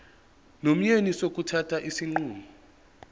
nomyeni sokuthatha isinqumo